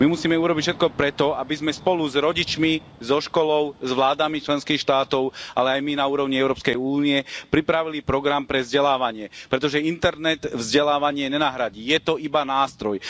My musíme urobiť všetko preto, aby sme spolu s rodičmi, so školou, s vládami členských štátov, ale aj my na úrovni Európskej únie pripravili program pre vzdelávanie, pretože internet vzdelávanie nenahradí. Je to iba nástroj.